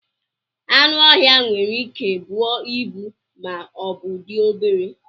Anụ ọhịa nwere Ike buo ịbu ma ọbụ dị obere